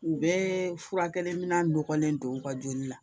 U bɛɛ furakɛli minɛn nɔgɔlen don u ka joli la